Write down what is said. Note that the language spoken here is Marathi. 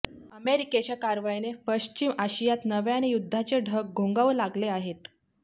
अमेरिकेच्या कारवाईने पश्चिम आशियात नव्याने युद्धाचे ढग घोंगावू लागले आहेत